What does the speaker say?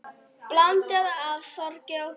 Blanda af sorg og gleði.